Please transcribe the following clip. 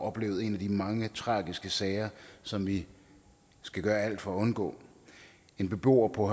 oplevet en af de mange tragiske sager som vi skal gøre alt for at undgå en beboer på